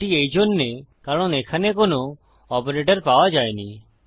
এটি এইজন্যে কারণএখানে কোনো অপারেটর পাওয়া যায়নি